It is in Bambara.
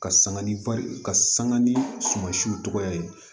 Ka sanga ni ka sanga ni sumansiw cogoya ye